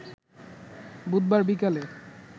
বুধবার বিকালে